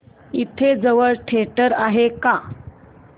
इथे जवळ थिएटर आहे का